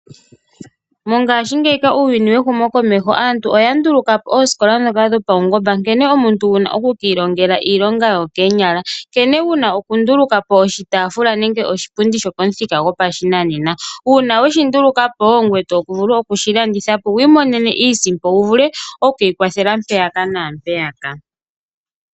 Mongaashingeyi uuyuni wehumo komeho aantu oya nduluka po oosikola ndhoka dhopaungomba nkene omuntu wu na oku ki ilongela iilonga yokoonyala, nkene wuna okunduluka po oshitaafula nenge oshipundi shopamuthika gopashinanena. Uuna we shi nduluka po oto vulu okushilanditha po wu imonene iisimpo wu vule okwiikwathela mpaka naa mpeyaka.